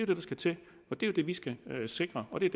det der skal til og det er det vi skal sikre og det er